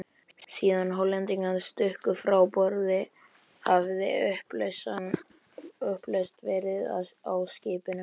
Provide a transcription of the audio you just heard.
Síðan Hollendingarnir stukku frá borði, hafði upplausn verið á skipinu.